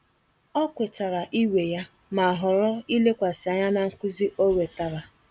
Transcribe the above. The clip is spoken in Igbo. Ọ kwetara iwe ya, ma họrọ ilekwasị anya na nkuzi ọ wetara.